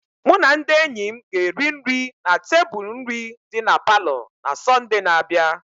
Mụ na ndị enyi m ga-eri nri na tebụl nri dị na palọ na Sọnde na-abịa.